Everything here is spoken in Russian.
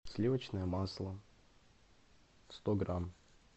сливочное масло сто грамм